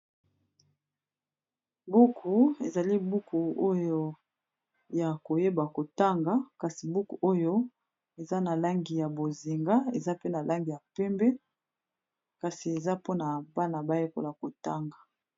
Buku ezali buku oyo ya koyeba kotanga kasi buku oyo eza na langi ya bozinga eza pe na langi ya pembe kasi eza mpona bana bayekola kotanga.